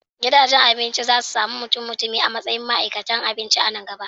Gidajen abinci za su sami mutummutumi a matsayin ma'aikatan abinci a nan gaba.